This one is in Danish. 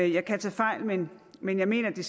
jeg kan tage fejl men men jeg mener at det